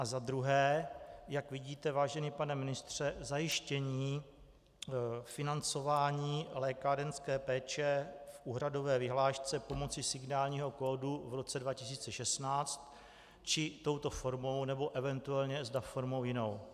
A za druhé: Jak vidíte, vážený pane ministře, zajištění financování lékárenské péče v úhradové vyhlášce pomocí signálního kódu v roce 2016, či touto formou, nebo eventuálně zda formou jinou?